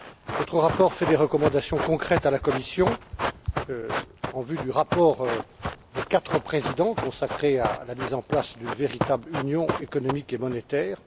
Votre rapport fait des recommandations concrètes à la Commission en vue du rapport des quatre présidents consacré à la mise en place d'une véritable union économique et monétaire.